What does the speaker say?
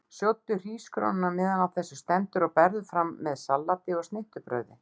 Sjóddu hrísgrjónin á meðan á þessu stendur og berðu fram með salati og snittubrauði.